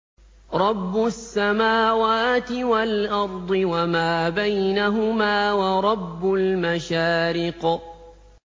رَّبُّ السَّمَاوَاتِ وَالْأَرْضِ وَمَا بَيْنَهُمَا وَرَبُّ الْمَشَارِقِ